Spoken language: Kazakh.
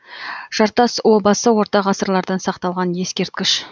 жартас обасы орта ғасырлардан сақталған ескерткіш